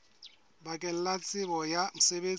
bakeng la tsebo ya mosebetsi